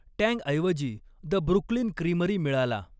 टँग ऐवजी the Brooklyn Creamery मिळाला.